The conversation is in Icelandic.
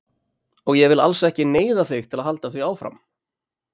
Og ég vil alls ekki neyða þig til að halda því áfram.